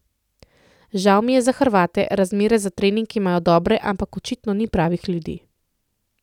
Žal mi je za Hrvate, razmere za trening imajo dobre, ampak očitno ni pravih ljudi.